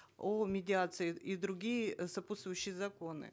о медиации и другие сопутствующие законы